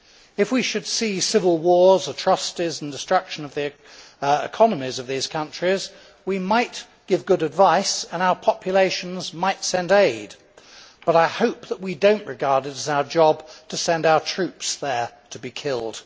If we should see civil wars, atrocities and the destruction of the economies of these countries, we might give good advice and our populations might send aid, but I hope that we do not regard it as our job to send our troops there to be killed.